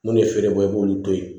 Mun de ye feere bɔ i b'olu to ye